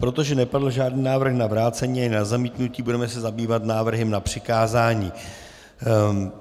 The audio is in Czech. Protože nepadl žádný návrh na vrácení ani na zamítnutí, budeme se zabývat návrhem na přikázání.